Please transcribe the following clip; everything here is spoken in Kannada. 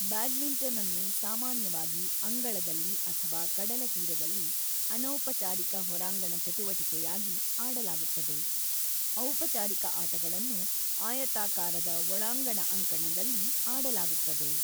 ಬ್ಯಾಡ್ಮಿಂಟನ್‌ಅನ್ನು ಸಾಮಾನ್ಯವಾಗಿ ಅಂಗಳದಲ್ಲಿ ಅಥವಾ ಕಡಲತೀರದಲ್ಲಿ ಅನೌಪಚಾರಿಕ ಹೊರಾಂಗಣ ಚಟುವಟಿಕೆಯಾಗಿ ಆಡಲಾಗುತ್ತದೆ; ಔಪಚಾರಿಕ ಆಟಗಳನ್ನು ಆಯತಾಕಾರದ ಒಳಾಂಗಣ ಅಂಕಣದಲ್ಲಿ ಆಡಲಾಗುತ್ತದೆ.